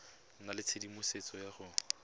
nna le tshedimosetso ya go